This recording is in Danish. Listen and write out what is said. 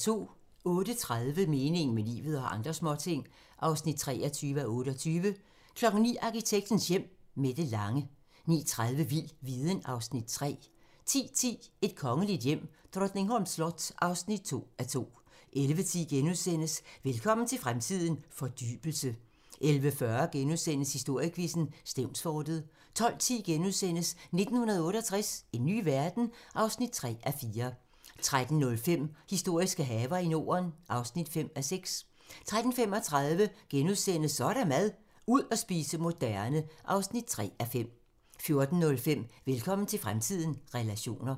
08:30: Meningen med livet - og andre småting (23:28) 09:00: Arkitektens Hjem: Mette Lange 09:30: Vild viden (Afs. 3) 10:10: Et kongeligt hjem: Drottningholms slot (2:2) 11:10: Velkommen til fremtiden - fordybelse * 11:40: Historiequizzen: Stevnsfortet * 12:10: 1968 - en ny verden? (3:4)* 13:05: Historiske haver i Norden (5:6) 13:35: Så er der mad - ud at spise moderne (3:5)* 14:05: Velkommen til fremtiden - relationer